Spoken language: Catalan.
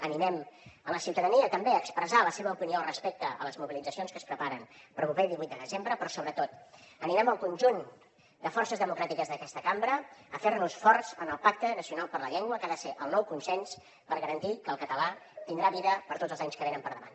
animem la ciutadania també a expressar la seva opinió al respecte a les mobilitzacions que es preparen per al proper divuit de desembre però sobretot animem el conjunt de forces democràtiques d’aquesta cambra a fer nos forts en el pacte nacional per la llengua que ha de ser el nou consens per garantir que el català tindrà vida per tots els anys que venen per davant